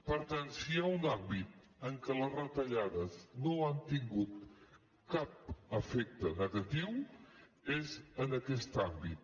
per tant si hi ha un àmbit en què les retallades no han tingut cap efecte negatiu és aquest àmbit